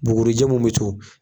Bugurijɛ mun be to